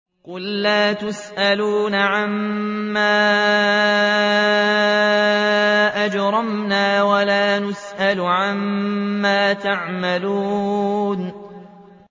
قُل لَّا تُسْأَلُونَ عَمَّا أَجْرَمْنَا وَلَا نُسْأَلُ عَمَّا تَعْمَلُونَ